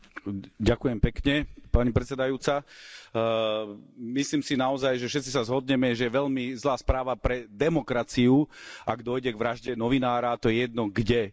Vážená pani predsedajúca, myslím si naozaj, že všetci sa zhodneme, že je veľmi zlá správa pre demokraciu, ak dôjde k vražde novinára, to je jedno kde.